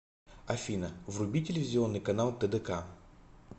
афина вруби телевизионный канал тдк